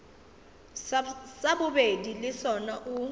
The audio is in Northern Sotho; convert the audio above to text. sa bobedi le sona o